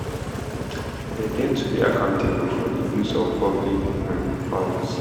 dem get to be accountable for di use of public um funds